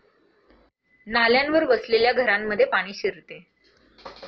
नाल्यांवर वसलेल्या घरांमध्ये पाणी शिरते.